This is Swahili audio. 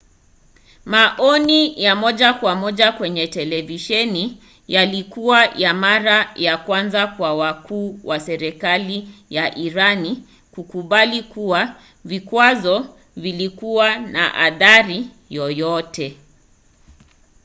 maoni ya moja kwa moja kwenye televisheni yalikuwa ya mara ya kwanza kwa wakuu wa serikali ya irani kukubali kuwa vikwazo vilikuwa na athari yoyote